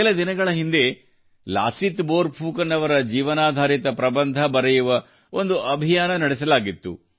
ಕೆಲ ದಿನಗಳ ಹಿಂದೆ ಲಾಸಿತ್ ಬೋರ್ ಫುಕನ್ ಅವರ ಜೀವನಾಧಾರಿತ ಪ್ರಬಂಧ ಬರೆಯುವ ಒಂದು ಅಭಿಯಾನ ನಡೆಸಲಾಗಿತ್ತು